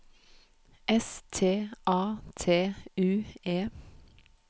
S T A T U E